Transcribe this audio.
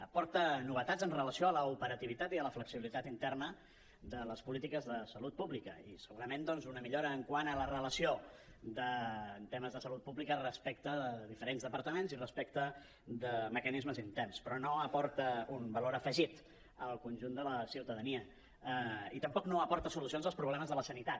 aporta novetats amb relació a l’operativitat i a la flexibilitat interna de les polítiques de salut pública i segurament doncs una millora quant a la relació en temes de salut pública respecte a diferents departaments i respecte de mecanismes interns però no aporta un valor afegit al conjunt de la ciutadania i tampoc aporta solucions als problemes de la sanitat